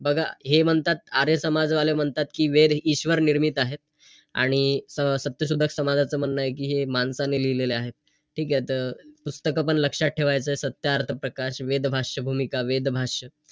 तेव्हा आपल्याला कळतं की आपण काय करतोय काय नाही.